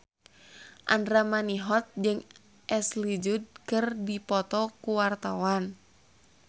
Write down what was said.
Andra Manihot jeung Ashley Judd keur dipoto ku wartawan